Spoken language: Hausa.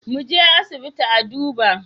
Muje asibiti a duba